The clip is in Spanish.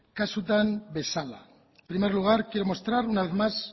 kasutan bezala en primer lugar quiero mostrar una vez más